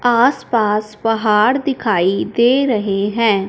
आसपास पहाड़ दिखाई दे रहे हैं।